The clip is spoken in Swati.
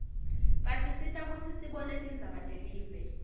basisita kutsi sibone tindzaba telive